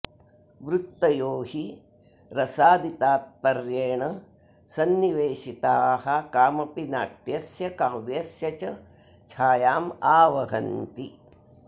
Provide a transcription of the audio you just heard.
वृत्तयो हि रसादितात्पर्येण संनिवेशिताः कामपि नाट्यस्य काव्यस्य च छायामावहन्ति